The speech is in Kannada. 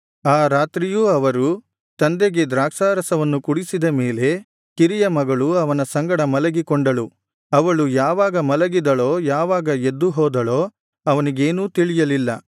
ಆ ರಾತ್ರಿಯೂ ಅವರು ತಂದೆಗೆ ದ್ರಾಕ್ಷಾರಸವನ್ನು ಕುಡಿಸಿದ ಮೇಲೆ ಕಿರಿಯ ಮಗಳು ಅವನ ಸಂಗಡ ಮಲಗಿಕೊಂಡಳು ಅವಳು ಯಾವಾಗ ಮಲಗಿದಳೋ ಯಾವಾಗ ಎದ್ದು ಹೋದಳೋ ಅವನಿಗೇನೂ ತಿಳಿಯಲಿಲ್ಲ